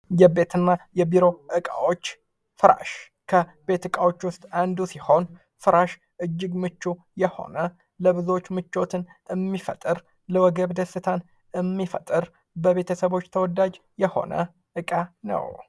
የቤት እና የቢሮ እቃዎች ፍራሽ ከቤት ዕቃዎች ውስጥ አንዱ ሲሆን ፍራሽ እጅግ በጣም ምቹ የሆነ የብዙዎች ምቾትን የሚፈጥር፣ ለወገብ ደስታን የሚፈጥር፣ የቤተሰቦች ተወዳጅ የሆነ እቃ ነው ።